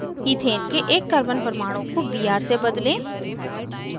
ethane के एक carbon परमाणु को br से बदलें